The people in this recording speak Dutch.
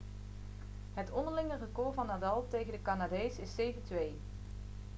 het onderlinge record van nadal tegen de canadees is 7-2